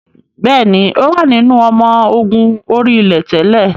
Bẹ́ẹ̀ni, ó wà nínú ọmọ ogun orí-ilẹ̀ tẹ́lẹ̀